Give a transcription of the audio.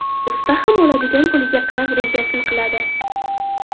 Usta ham oladigan puliga qarab rejasini qiladi.